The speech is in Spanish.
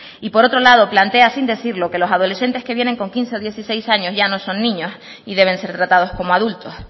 y por otro lado plantea sin decirlo que los adolescentes que vienen con quince o dieciséis años ya no son niños y deben ser tratados como adultos